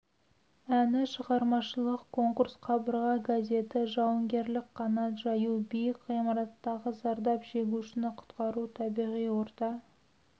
әні шығармашылық конкурс қабырға газеті жауынгерлік қанат жаю биік ғимараттағы зардап шегушіні құтқару табиғи орта